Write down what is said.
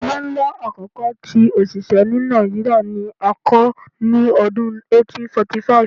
Ile nla akọkọ ti osise ni Nigeria ni a kọ ni ọdun 1845